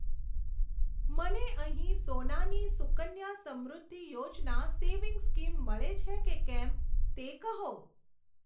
મને અહીં સોનાની સુકન્યા સમૃદ્ધિ યોજના સેવિંગ્સ સ્કીમ મળે છે કે કેમ તે કહો.